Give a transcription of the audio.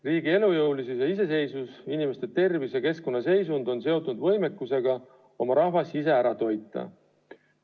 Riigi elujõulisus ja iseseisvus, inimeste tervis ja keskkonna seisund on seotud võimekusega oma rahvas ise ära toita.